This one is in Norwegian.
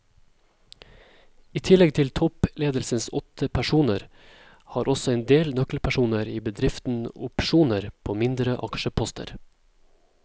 I tillegg til toppledelsens åtte personer har også en del nøkkelpersoner i bedriften opsjoner på mindre aksjeposter.